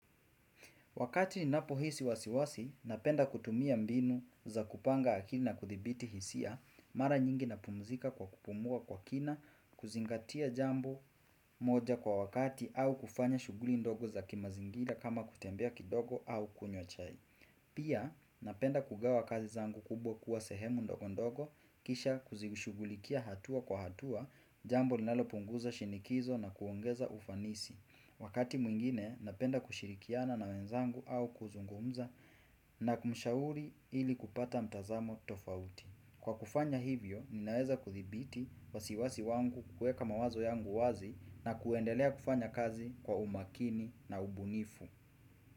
Wakati ninapohisi wasiwasi, napenda kutumia mbinu za kupanga akili na kuthibiti hisia, mara nyingi napumzika kwa kupumua kwa kina, kuzingatia jambo moja kwa wakati au kufanya shughuli ndogo za kimazingira kama kutembea kidogo au kunywa chai. Pia, napenda kugawa kazi zangu kubwa kuwa sehemu ndogo ndogo, kisha kuzishughulikia hatua kwa hatua, jambo linalopunguza shinikizo na kuongeza ufanisi. Wakati mwingine, napenda kushirikiana na wenzangu au kuzungumza na kumshauri ili kupata mtazamo tofauti. Kwa kufanya hivyo, ninaweza kuthibiti wasiwasi wangu kuweka mawazo yangu wazi na kuendelea kufanya kazi kwa umakini na ubunifu.